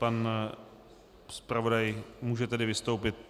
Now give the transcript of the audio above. Pan zpravodaj může tedy vystoupit.